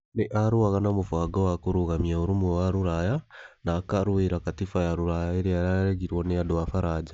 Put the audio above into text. Nĩ arũaga na mũbango wa kũrũgamia ũrũmwe wa Rũraya na akarũĩrĩra Katiba ya Rũraya ĩrĩa yaregirũo nĩ andũ a Faranja.